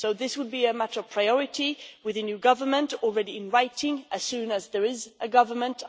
This would be a matter of priority with a new government, already inviting, as soon as there is a government